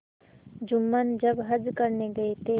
जुम्मन जब हज करने गये थे